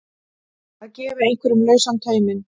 Að gefa einhverjum lausan tauminn